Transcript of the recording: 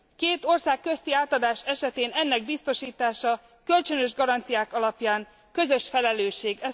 Két ország közti átadás esetén ennek biztosítása kölcsönös garanciák alapján közös felelősség.